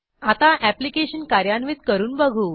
आता ऍप्लिकेशन कार्यान्वित करून बघू